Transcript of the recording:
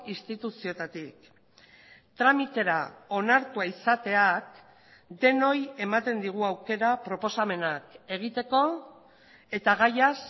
instituzioetatik tramitera onartua izateak denoi ematen digu aukera proposamenak egiteko eta gaiaz